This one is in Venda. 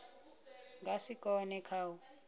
nga si kone kha u